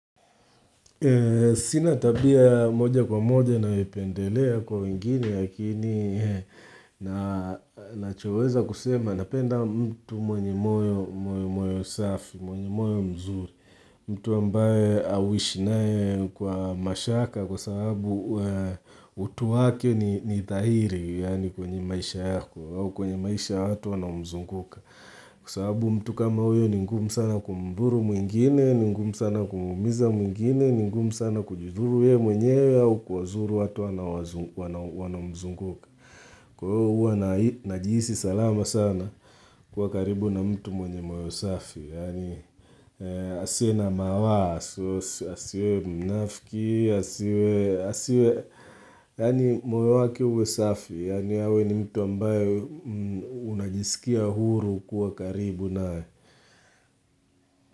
Sina tabia moja kwa moja nayopendelea kwa wengine, lakini nachoweza kusema napenda mtu mwenye moyo mzuri, mtu ambaye auishi naye kwa mashaka kwa sababu utu wake ni thahiri yaani kwenye maisha yako, kwenye maisha ya watu wanaomzunguka. Kwa sawabu mtu kama huyo ni ngumu sana kumdhuru mwengine, ni ngumu sana kumumiza mwingine, ni ngumu sana kujidhuru ye mwenyewe au kuwazuru watu wanaomzunguka Kwaiyo huwa najihisi salama sana kuwa karibu na mtu mwenye moyo safi Asiwe na mawa, asiwe mnafiki, asiwe yaani moyo wake uwe safi, yaani awe ni mtu ambayo unajisikia huru kuwa karibu naye.